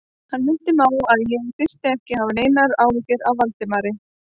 Hann minnti mig á, að ég þyrfti ekki að hafa neinar áhyggjur af Valdimari